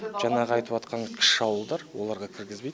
жаңағы айтыватқан кіші ауылдар оларға кіргізбейді